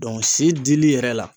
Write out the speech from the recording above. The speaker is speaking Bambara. si dili yɛrɛ la